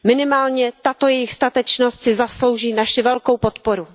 Minimálně tato jejich statečnost si zaslouží naši velkou podporu.